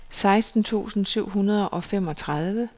seksten tusind syv hundrede og femogtredive